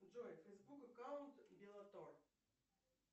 джой фейсбук аккаунт беллатор